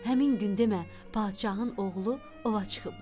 Həmin gün demə padşahın oğlu ova çıxıbmış.